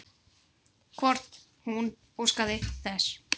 Hvort hún óskaði þess?